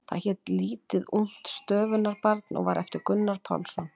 Það hét Lítið ungt stöfunarbarn og var eftir Gunnar Pálsson.